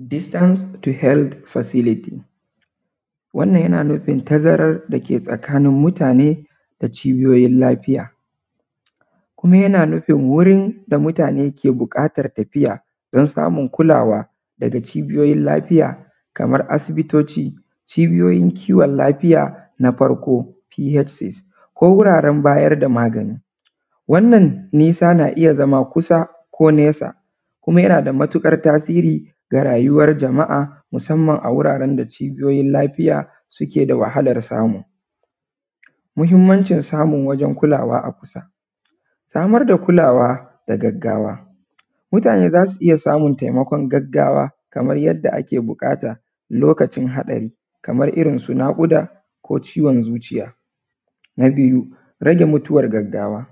Distance to held facilities wannan yana nufin tazaran dake tsakanin mutane da cibiyoyin lafiya. Ni ina nufin wurin da mutane ke buƙatan tafiya don samun kulawa daga cibiyoyin lafiya kaman asibitoci na farko psc ko wuraren bayar da magani wannan nisa na iya zama kusa ko nesa kuma yanada matuƙar tasiri a rayuwan jama’a musanman a wuraren da cibiyoyin lafiya suke da wahalan samu. Muhinmancin samun wurin kulawa a kusa, samar da kulawa na gargajiya mutane za su iya samun taimakon gaggawa kaman yanda ake buƙata lokacin hatsari kamanirin su naƙuda ko ciwon zuciya. Na biyu rage mutuwan gaggawa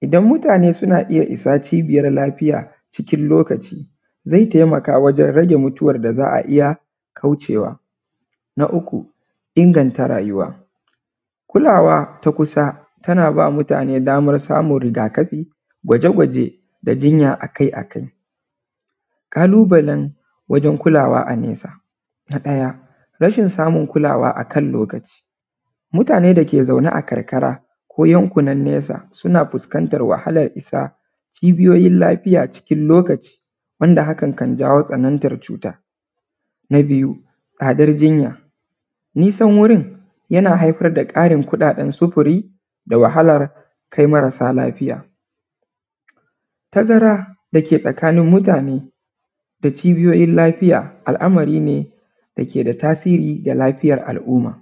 idan mutane suna iya isa cibiyan gaggawa cikin lokaci zai taimaka wajen rage mutuwan zuciya. Na uku, inganta rayuwa kulawa ta kusa tana ba nutane daman samun rigakafi gwaje-gwaje da jinya akai-akai. ƙalubalen wajen kulawa a nesa na ɗaya rashin damun kulawa akan lokaci mutane da ke zaune a karkara ko yankuna nesa suna fuskantan wahalan isa ƙungiyoyin lafiya cikin lokaci wanda hakan kan janyo tsanantan cuta, na biyu tsadar jinya nisan wurin yana buƙatan ƙarin sufuri da wahalan kai marasa lafiya, tazara da ke tsakanin mutane da cibiyoyin lafiya al’amari ne da ke da tasiri ga lafiyan al’umma.